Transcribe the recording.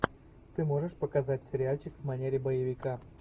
ты можешь показать сериальчик в манере боевика